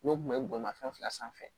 N'o tun bɛ bolimafɛn fila sanfɛ